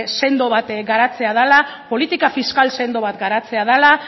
sendo bat garatzea dela politika fiskal sendo bat garatzea dela